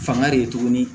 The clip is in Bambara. Fanga de ye tuguni